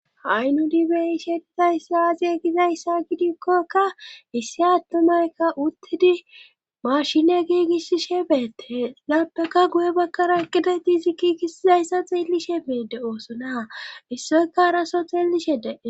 hay nudi beyishe dizayss aaaziye gizayssa gidikkokka issi attumeykka uttidi mashine giigissishe beette lapaka guye bakkara ekida di zi kiigiizayssa xeellishe beedde oosona issoyka araso xeelishede